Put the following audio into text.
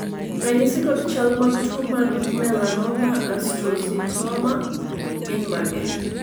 ranyisi kod chal mag tuo mar Melanoma astrocytoma gin mage?